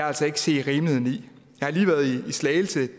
altså ikke se rimeligheden i jeg har lige været i slagelse og